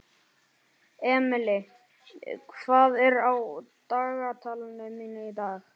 Emely, hvað er á dagatalinu mínu í dag?